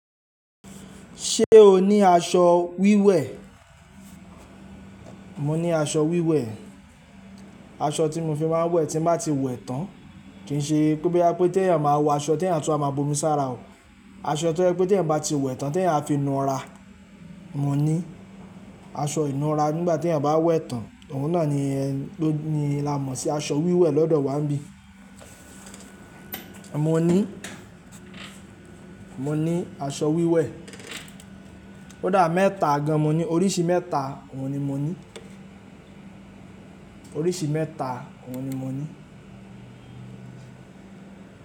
Ṣé o ní aṣọ wíwẹ̀? Mo ní aṣọ wíwẹ̀, aṣọ tí mo fi máa ń wẹ̀ tí bá ti wẹ̀ tán. Kì í ṣe pé boya pé tí ẹ̀eyan máa wọ aṣọ tí ẹ̀eyan a tun wa má bomi sára o. Aṣọ tí ó jẹ́ pé tí ẹ̀eyan bá ti wẹ̀ tán tí ẹ̀eyan á fi nu ra. Mo ní aṣọ inura nígbà tí ẹ̀eyan bá wẹ̀ tán, òun náà ni ẹ ni là mọ̀ sí aṣọ wíwẹ̀ lọ́dọ̀ wa níbí. Mo ní, mo ní aṣọ wíwẹ̀. Ko dà méta gan mo ní, oríṣi mẹ́ta, òun ni mo ní. Oríṣi mẹ́ta, òun ni mo ní.